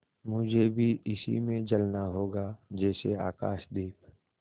मुझे भी इसी में जलना होगा जैसे आकाशदीप